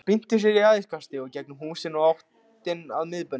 Hann spyrnti sér í æðiskasti í gegnum húsin og í áttina að miðbænum.